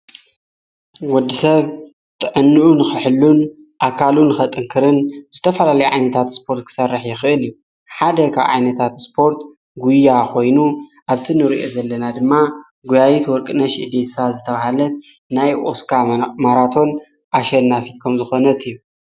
ወዲ ሰብ ጥዕኖዑ ኽሕሉን ኣካሉን ኸጥንክርን ዝተፈላለ ዓይነታት ስጶርት ክሠርሕ የኽእል እዩ ሓደ ካ ኣይነታት ስጶርት ጕያ ኾይኑ ኣብቲ ንርእአ ዘለና ድማ ጕያይት ወርቅነሽ እዲሳ ዝተብሃለት ናይ ኦስካ መራቶን ኣሸልናፊትከም ዝኾነት እዩ።